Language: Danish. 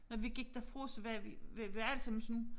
Når vi gik derfra så var vi var alle sammen sådan